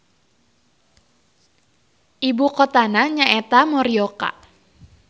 Ibukotana nyaeta Morioka.